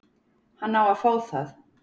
Hann á að fá það.